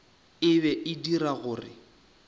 e be e dira gore